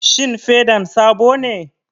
Shin fedan sabo ne?